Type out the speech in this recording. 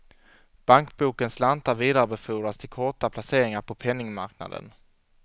Bankbokens slantar vidarebefordras till korta placeringar på penningmarknaden.